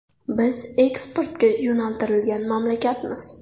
Biz eksportga yo‘naltirilgan mamlakatmiz.